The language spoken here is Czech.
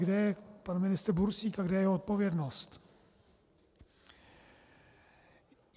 Kde je pan ministr Bursík a kde je jeho odpovědnost?